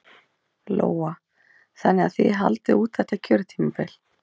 Lóa: Þannig að þið haldið út þetta kjörtímabil?